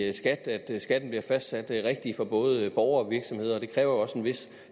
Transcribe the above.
i skat at skatten bliver fastsat rigtigt for både borgere og virksomheder og det kræver jo også en vis